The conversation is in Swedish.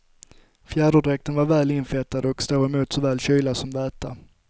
Fjäderdräkten är väl infettad och står emot såväl kyla som väta.